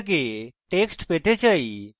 debitamount থেকে text পেতে চাই